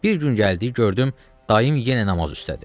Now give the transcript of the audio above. Bir gün gəldim, gördüm dayım yenə namaz üstədir.